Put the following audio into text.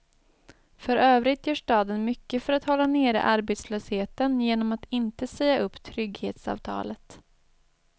För övrigt gör staden mycket för att hålla nere arbetslösheten genom att inte säga upp trygghetsavtalet.